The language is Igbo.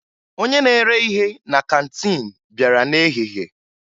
Onye na-ere ihe na kantiin bịara n'ehihie